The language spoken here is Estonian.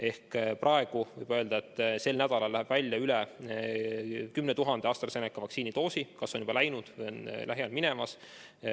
Ehk praegu võib öelda, et sel nädalal läheb välja üle 10 000 AstraZeneca vaktsiini doosi – kas on juba läinud või on lähiajal minemas.